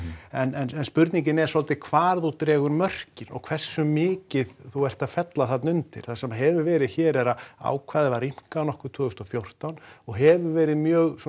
en spurningin er svolítið hvar þú dregur mörkin og hversu mikið þú ert að fella þarna undir það sem hefur verið hér er að ákvæðið var rýmkað nokkuð tvö þúsund og fjórtán og hefur verið mjög svona